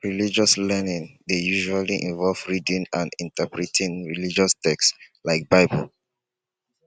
religious learning dey usually involve reading and interpreting religious text like bible